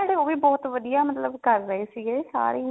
ਜਿਹੜੇ ਉਹ ਵੀ ਬਹੁਤ ਵਧੀਆ ਮਤਲਬ ਕਰ ਰਹੇ ਸੀਗੇ ਸਾਰੇ ਹੀ